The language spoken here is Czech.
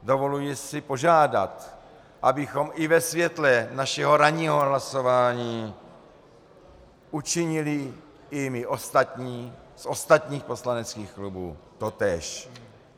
Dovoluji si požádat, abychom i ve světle našeho ranního hlasování učinili i my ostatní, z ostatních poslaneckých klubů, totéž.